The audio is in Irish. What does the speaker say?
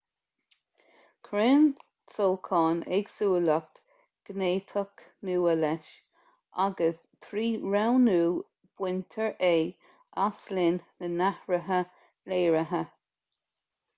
cuireann sóchán éagsúlacht ghéiniteach nua leis agus trí roghnú baintear é as linn na n-athruithe léirithe